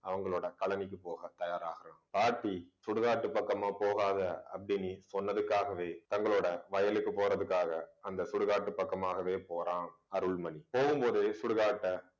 அவங்களோட காலனிக்கு போக தயாராகுறான் பாட்டி சுடுகாட்டு பக்கமா போகாத அப்பிடின்னு சொன்னதுக்காகவே தங்களோட வயலுக்கு போறதுக்காக அந்த சுடுகாட்டு பக்கமாகவே போறான் அருள்மணி போகும்போது சுடுகாட்டை